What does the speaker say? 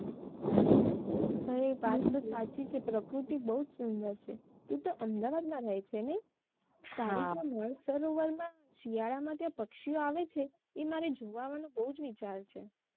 હવે વાત તો સાચી જ છે પ્રકૃતિ બઉ જ સુંદર છે તું તો અમદાવાદ માં રહે નઈ તારી ત્યાં નળસરોવર માં શિયાળા માં ત્યાં પક્ષીઓ આવે છે એ માંરે જોવા આવવા નો બઉ જ વિચાર છે